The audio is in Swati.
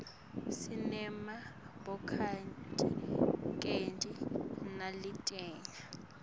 sinema bhokathisinetikedi naletinye